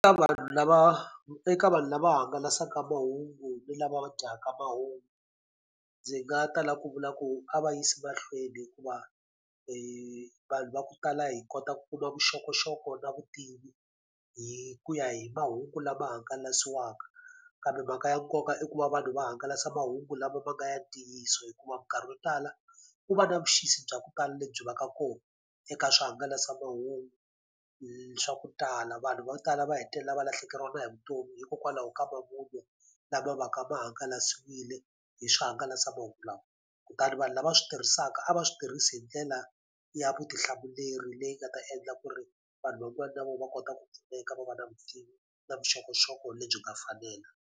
Ka vanhu lava eka vanhu lava hangalasaka mahungu ni lava dyaka mahungu, ndzi nga ta lava ku vula ku a va yisa mahlweni hikuva vanhu va ku tala hi kota ku kuma vuxokoxoko na vutivi hi ku ya hi mahungu lama hangalasiwaka. Kambe mhaka ya nkoka i ku va vanhu va hangalasa mahungu lama ma nga ya ntiyiso hikuva minkarhi yo tala, ku va na vuxisi bya ku tala lebyi va ka kona eka swihangalasamahungu swa ku tala. Vanhu va ku tala va hetelela va lahlekeriwa hi vutomi hikokwalaho ka mavun'wa lama va ka ma hangalasiwile hi swihangalasamahungu lawa. Kutani vanhu lava swi tirhisaka a va swi tirhisi hi ndlela ya vutihlamuleri leyi nga ta endla ku ri vanhu van'wana na vona va kota ku pfuneka va va na vutivi na vuxokoxoko lebyi nga fanela.